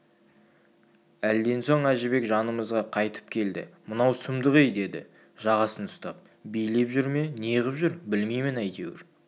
әлден соң әжібек жанымызға қайтып келді мынау сұмдық-ей деді жағасын ұстап билеп жүр ме неғып жүр білмеймін әйтеуір